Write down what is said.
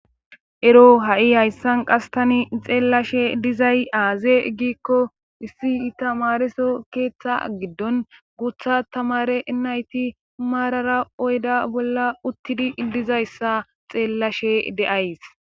Ero ha7i hayssan qastani xeellashe dizay aaze gikko issi i tamareso keeththa giddon gutha tamare nayti maarara oyda bolla uttidi dizayssa xeellashe de7ays .